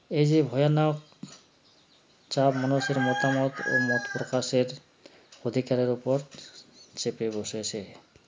এযে ভয়ানক চাপ মানুষের মতামত ও মতপ্রকাশের অধিকারের ওপর চেপে বসেছে